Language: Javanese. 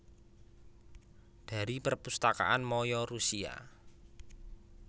Dari Perpustakaan maya Rusia